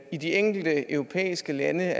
i de enkelte europæiske lande